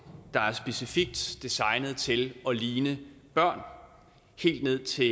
der er specifikt designet til at ligne børn helt ned til